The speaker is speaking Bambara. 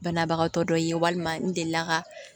Banabagatɔ dɔ ye walima n delila ka